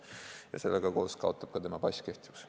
Ja sellega koos kaotab kehtivuse ka tema pass.